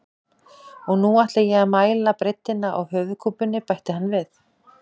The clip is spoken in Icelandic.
Og nú ætla ég að mæla breiddina á höfuðkúpunni, bætti hann við.